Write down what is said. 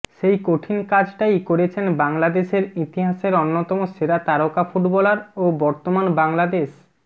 সেই কঠিন কাজটাই করেছেন বাংলাদেশের ইতিহাসের অন্যতম সেরা তারকা ফুটবলার ও বর্তমান বাংলাদেশ